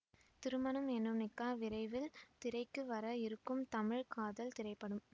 திருமணம் எனும் நிக்காஹ் விரைவில் திரைக்கு வர இருக்கும் தமிழ் காதல் திரைப்படம்